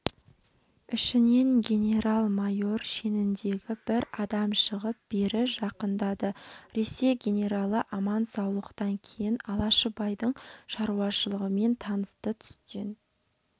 ішінен генерал-майор шеніндегі бір адам шығып бері жақындады ресей генералы аман-саулықтан кейін алашыбайдың шаруашылығымен танысты түстен